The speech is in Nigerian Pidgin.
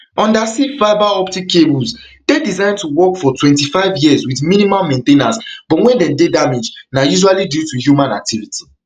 undersea fibre optic cables dey designed to work for twenty-five years wit minimal main ten ance but wen dem dey damaged na usually due to human activity